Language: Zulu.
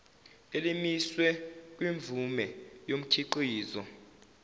elimiswe kwimvume yomkhiqizo